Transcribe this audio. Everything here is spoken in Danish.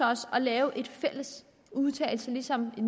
os at lave en fælles udtalelse ligesom i